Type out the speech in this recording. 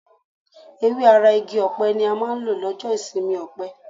Ewé ara igi ọ̀pẹ ni a máa ń lò lọ́jọ́ ìsinmi ọ̀pẹ.